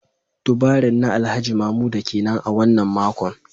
Turbaring na Alhaji Mamuda kenan a wannan makon